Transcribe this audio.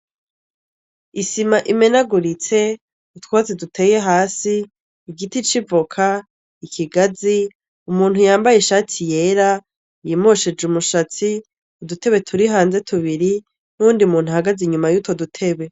Isima imenaguritse; utwatsi duteye hasi ;igiti c'ivoka; ikigazi; umuntu yambaye ishati yera ,yimosheje umushatsi, udutebe turi hanze tubiri, n'uwundi muntu ahagaze inyuma yutwo dutebe.